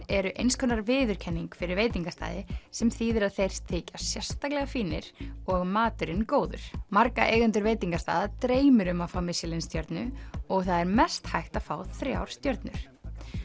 eru eins konar viðurkenning fyrir veitingastaði sem þýðir að þeir þykja sérstaklega fínir og að maturinn góður marga eigendur veitingastaða dreymir um að fá Michelin stjörnu og það er mest hægt að fá þrjár stjörnur